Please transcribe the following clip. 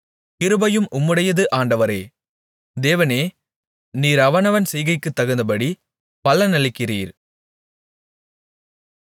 கிருபையும் உம்முடையது ஆண்டவரே தேவனே நீர் அவனவன் செய்கைக்குத் தகுந்தபடி பலனளிக்கிறீர்